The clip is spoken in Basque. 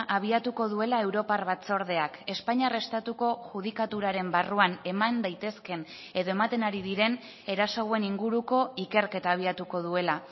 abiatuko duela europar batzordeak espainiar estatuko judikaturaren barruan eman daitezken edo ematen ari diren eraso hauen inguruko ikerketa abiatuko duela